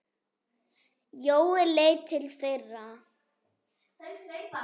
Jói leit til þeirra.